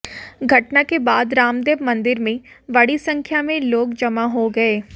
घटना के बाद रामदेव मंदिर में बडी संख्या में लाेग जमा हाे गए